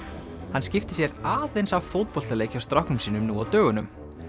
hann skipti sér aðeins af fótboltaleik hjá stráknum sínum nú á dögunum